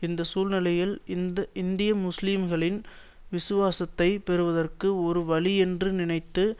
இந்த சூழ்நிலையில் இந்திய முஸ்லிம்களின் விசுவாசத்தைப் பெறுவதற்கு ஒரு வழி என்று நினைத்து